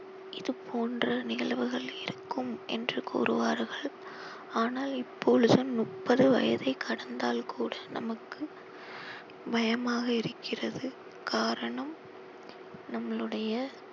இது போன்ற நிகழ்வுகள் இருக்கும் என்று கூறுவார்கள் ஆனால் இப்பொழுது முப்பது வயதை கடந்தால் கூட நமக்கு பயமாக இருக்கிறது காரணம் நம்மளுடைய